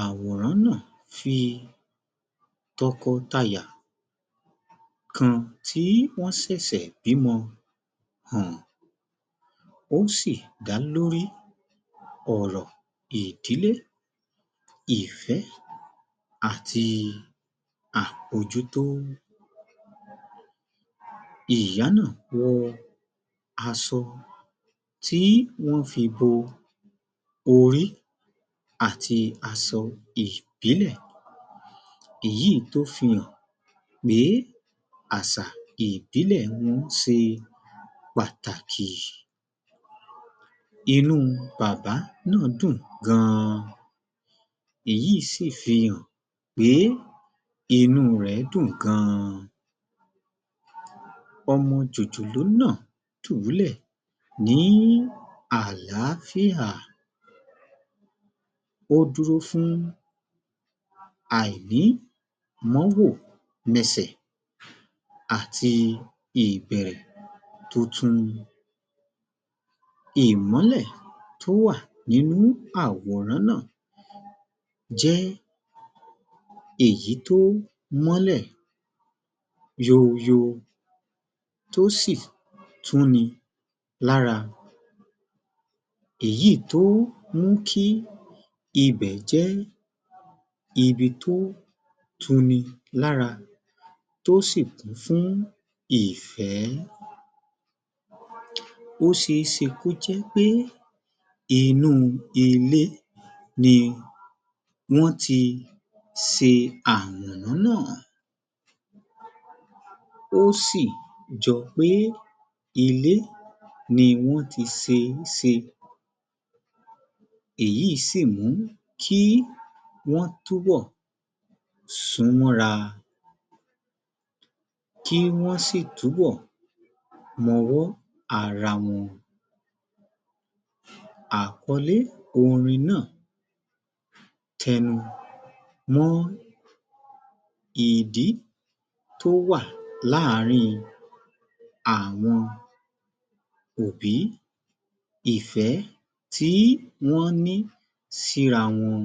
Àwòrán náà fi tọkọtaya kan tí wọ́n ṣẹ̀ṣẹ̀ bímo hàn, ó sì dá lórí ọ̀rọ̀ ìdílé, ìfẹ́ àti àmojutò. Ìyá náà wọ aṣọ tí wọ́n fi bo orí àti aṣọ ìbílẹ̀, èyí tó fi hàn pé àṣà ìbílẹ̀ wọn ṣe pàtàkì. Inú bàbá náà dùn gan-an, èyí sì fi hàn pé inú rẹ̀ dùn gan-an. Ọmọ jòjòló náà dùbúlẹ̀ ní àlááfíà, ó dúró fún àìní mọwọ́ mẹsẹ̀ àti ìbẹ̀rẹ̀ tuntun, ìmólẹ̀ tó wà nínú àwòrán náà jé èyí tó mólẹ̀ yòò yòò, tó sì tu ni lára, èyi tó mú kí ibẹ̀ jẹ́ ibi tó tuni lára, tó sì kún fún ìfẹ́. Ó ṣe é ṣe kó jẹ́ pé inú ilé ni wọ́n ti ṣe àwòrán náà, ó sì jọ pé ilé ni wọ́n ti ṣe e ṣe, èyí sì mú kí wọ́n túbò sún mọ́ra, kí wọ́n sì túbọ̀ mọwọ́ ara wọn. Àkọlé orin náà tẹnu mọ́ ìdí tó wà láàrín àwọn òbí, ìfẹ́ tí wón ní síra wọn,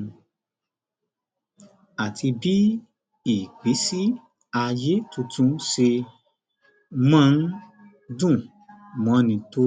àti bí ìgbésí ayé tuntun ṣe máa ń dùn mọ́ni tò